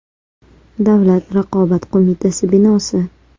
Davlat raqobat qo‘mitasi binosi.